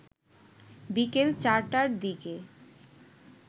বিকেল চারটার দিকে